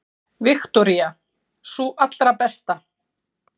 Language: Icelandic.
Viktoría: Sú allra besta?